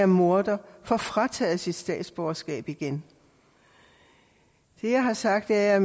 morder får frataget sit statsborgerskab igen det jeg har sagt er at